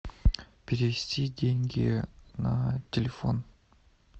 перевести деньги на телефон